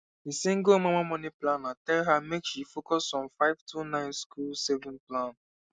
the single mama money planner tell her make she focus on five two nine school saving plan